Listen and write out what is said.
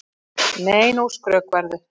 Nei, nú skrökvarðu!